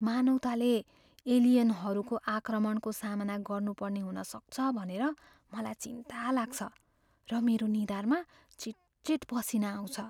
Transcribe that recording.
मानवताले एलियनहरूको आक्रमणको सामना गर्नुपर्ने हुन सक्छ भनेर मलाई चिन्ता लाग्छ र मेरो निधारमा चिटचिट पसिना आउँछ।